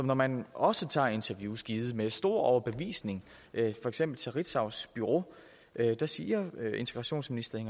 når man også tager interviews givet med stor overbevisning for eksempel til ritzaus bureau så siger integrationsministeren